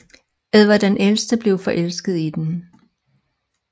Edvard den ældre blev forelsket i hende